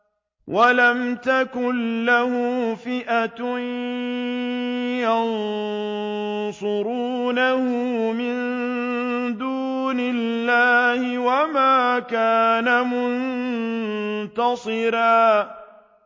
وَلَمْ تَكُن لَّهُ فِئَةٌ يَنصُرُونَهُ مِن دُونِ اللَّهِ وَمَا كَانَ مُنتَصِرًا